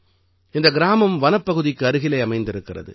இந்த கிராமம் வனப்பகுதிக்கு அருகிலே அமைந்திருக்கிறது